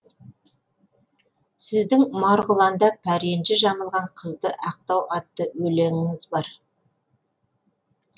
сіздің марғұланда пәренжі жамылған қызды ақтау атты өлеңіңіз бар